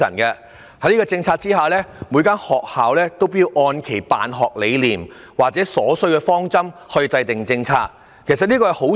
在此政策下，每所學校要按其辦學理念或需要制訂治校方針，這本是好事。